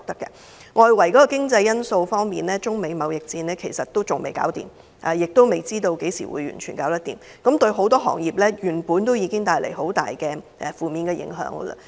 外圍經濟方面，中美貿易戰仍未停止，亦未知何時才能完全結束，對很多行業造成重大負面影響。